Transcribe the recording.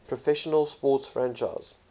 professional sports franchise